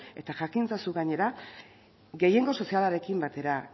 eta jakin ezazu gainera gehiengo sozialarekin batera